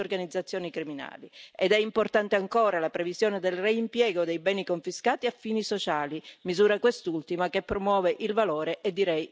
Ed è importante ancora la previsione del reimpiego dei beni confiscati a fini sociali, misura quest'ultima che promuove il valore e direi il senso della legalità.